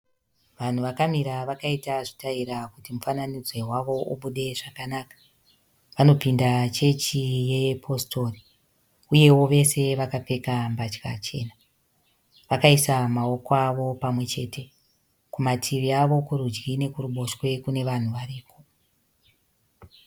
Vanhu vakamira vakaita zvitaira kuti mufananidzo wavo ubude zvakanaka. Vanopinda chechi yepositori uyewo vese vakapfeka mbatya chena. Vakaisa maoko avo pamwechete. Kumativi avo kurudyi nekuruboshwe kune vanhu variko.